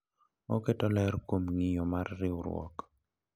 Oketo ler kuom ng’iyo mar riwruok.